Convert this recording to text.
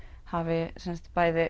hafi